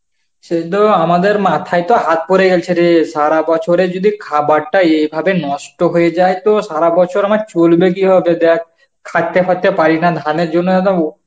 সে তো আমাদের মাথায় তো হাত পরে গেছে রে, সারা বছরের যদি খাবারটা এভাবে নষ্ট হয়ে যায় তো সারা বছর আমার চলবে কিভাবে? দেখ খাটতে খাটতে পারিনা ধানের জন্য একদম